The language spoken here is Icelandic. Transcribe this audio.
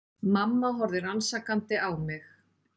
Mamma horfði rannsakandi á mig.